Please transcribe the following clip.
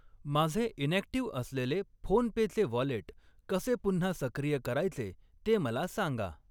माझे इनॅक्टिव्ह असलेले फोनपेचे वॉलेट कसे पुन्हा सक्रिय करायचे ते मला सांगा.